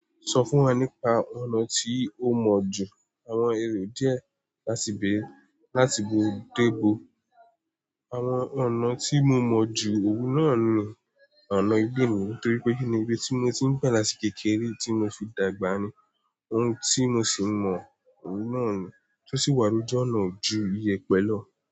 Sọ fún wa nípa ọ̀nà tí o mọ̀ jù àwọn èrò díẹ̀ láti bèrè láti gbò dé gbò. Àwọn ọ̀nà tí mo mọ̀ jù òún náà ni ọ̀nà ìgbéni, torí pé kìí ní ibi tí mo ti ń padà sí kékeré tí mo fi dàgbà ni, ohun tí mo sì mọ̀ òwú náà ni, tó sì wá ni ọ̀nà ju iye pẹ̀lú.